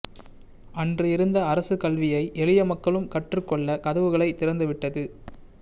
அன்று இருந்த அரசு கல்வியை எளிய மக்களும் கற்றுக் கொள்ளக் கதவுகளைத் திறந்துவிட்டது